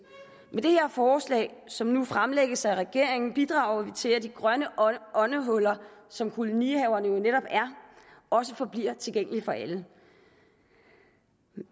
med det her forslag som nu fremlægges af regeringen bidrager vi til at de grønne åndehuller som kolonihaverne jo netop er også forbliver tilgængelige for alle